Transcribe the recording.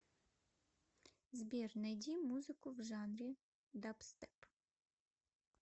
сбер найди музыку в жанре дабстеп